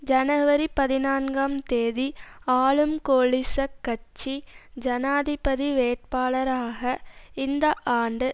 ஜனவரி பதினான்காம் தேதி ஆளும் கோலிச கட்சி ஜனாதிபதி வேட்பாளராக இந்த ஆண்டு